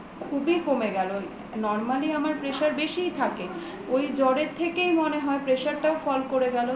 খুবই কমে গেল normally আমার pressure বেশিই থাকে ওই জ্বরের থেকেই মনে হয় pressure টাও fall করে গেলো